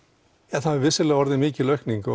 það hefur vissulega orðið mikil aukning